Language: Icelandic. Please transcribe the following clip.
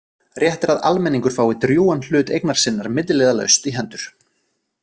Rétt er að almenningur fái drjúgan hlut eignar sinnar milliliðalaust í hendur.